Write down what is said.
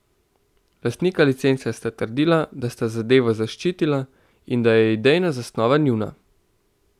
Lastnika licence sta trdila, da sta zadevo zaščitila in da je idejna zasnova njuna.